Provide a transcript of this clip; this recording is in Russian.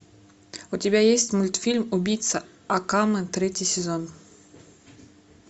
у тебя есть мультфильм убийца акаме третий сезон